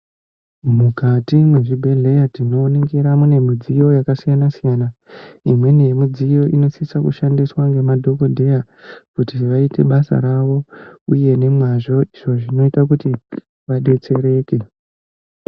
Mukati mwezvibhehleya tinoningira mune midziyo yakasiyana-siyana. Imweni yemidziyo inosisa kushandiswa ngemadhogodheya kuti vaite basa ravo uy nemazvo. Izvo zvinota kuti vadetseeke. .